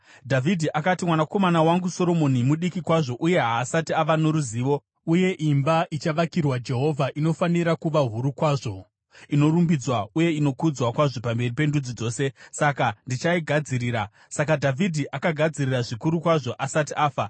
Dhavhidhi akati, “Mwanakomana wangu Soromoni mudiki kwazvo uye haasati ava noruzivo, uye imba ichavakirwa Jehovha inofanira kuva huru kwazvo, inorumbidzwa uye inokudzwa kwazvo pamberi pendudzi dzose. Saka ndichaigadzirira.” Saka Dhavhidhi akagadzirira zvikuru kwazvo asati afa.